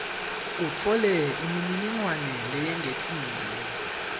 utfole imininingwane leyengetiwe